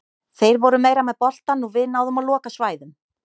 Þeir voru meira með boltann og við náðum að loka svæðum.